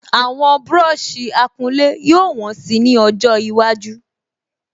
Àwọn búrọ̀sì akulé yóò wọ́n si ni ọjọ iwájú